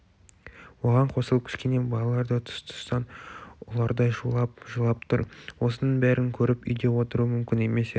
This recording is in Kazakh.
оған қосылып кішкене балалар да тұс-тұстан ұлардай шулап жылап тұр осының бәрін көріп үйде отыру мүмкін емес еді